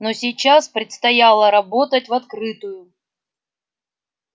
но сейчас предстояло работать в открытую